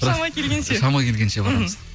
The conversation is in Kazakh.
шама келгенше шама келгенше барамыз мхм